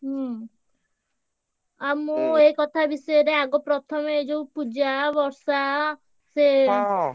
ହୁଁ ଆଉ ମୁଁ ଏଇ କଥା ବିଷୟରେ ଆଗ ପ୍ରଥମେ ଯୋଉ ପୂଜା ବର୍ଷା ସେ ।